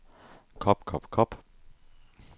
kop kop kop